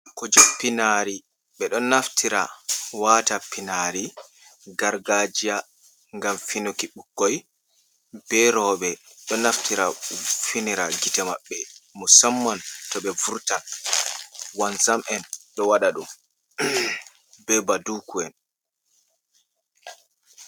Kuje pinari, ɓe ɗo naftira wata pinari gargajiya ngam finuki, ɓukkoi be rowɓe ɗo naftira finira gite maɓɓe. Musamman to ɓe vurtan, wanzam'en ɗo waɗa ɗum, be baduku'en.